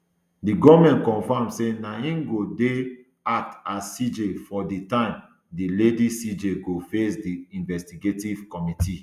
di goment confam say na im go dey act as cj for di time di lady cj go face di investigative committee